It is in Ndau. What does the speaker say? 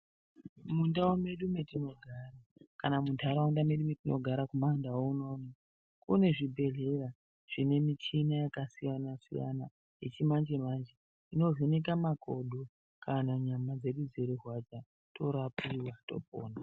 Mundau medu metinogara, kana muntaraunda medu mwetinogara kumandau unono, kune zvibhedhleya zvine michina yakasiyana-siyana , yechimanje-manje, inovheneka makodo kana nyama dzedu dzeirwadza, torapiwa, topona.